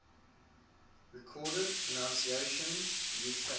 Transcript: recorded pronunciations uk